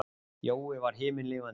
Jói var himinlifandi.